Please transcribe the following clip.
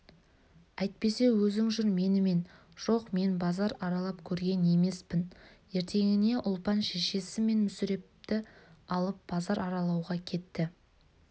әйтпесе өзің жүр менімен жоқ мен базар аралап көрген емеспін ертеңіне ұлпан шешесі мен мүсірепті алып базар аралауға кетті